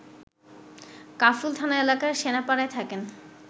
কাফরুল থানা এলাকার সেনপাড়ায় থাকেন